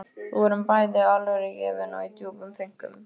Við vorum bæði alvörugefin og í djúpum þönkum.